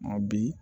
Ma bi